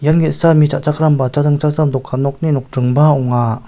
ia ge·sa mi cha·chakram ba dokan nokni nokdringba ong·a.